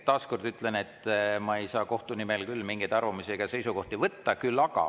Taas kord ütlen, et ma ei saa kohtu nimel mingeid arvamusi ega seisukohti võtta.